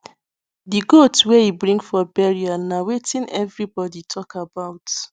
the goat wey e bring for burial na wetin everybody talk about